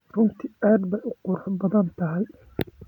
Runtii aad bay u qurux badan tahay.